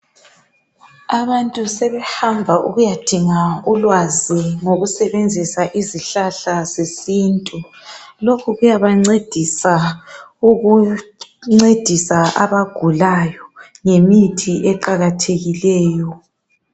Abantu sebehamba ukuya dinga ulwazi ngokusetshenziswa kwezihlahla zesintu. Lokhu kuyaba ncedisa abagulayo ngemithi eqakathekileyo.